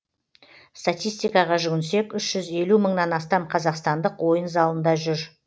статистикаға жүгінсек үш жүз елу мыңнан астам қазақстандық ойын залында жүр